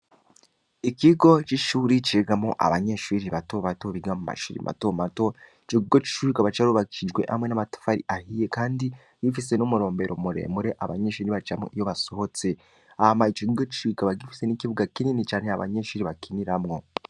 Ikigo c’ishuri cigamwo abanyeshuri bato bato, biga mu mashuri mato mato, ico kigo c’ishuri kikaba carubakishijwe hamwe n’amatafari ahiye kandi gifise n’umurombero muremure abanyeshuri bacamwo iyo basohotse; hama ico kigo c’ishuri kikaba gifise n’ikibuga kinini cane abanyeshuri bakiniramwo.